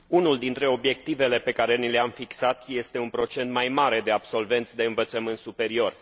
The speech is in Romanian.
Unul dintre obiectivele pe care ni le am fixat este un procent mai mare de absolvenți de învățământ superior.